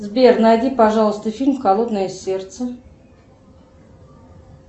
сбер найди пожалуйста фильм холодное сердце